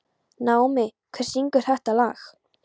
Naómí, hver syngur þetta lag?